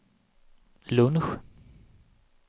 lunch